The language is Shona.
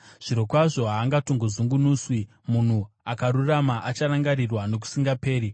Zvirokwazvo, haangatongozungunuswi; munhu akarurama acharangarirwa nokusingaperi.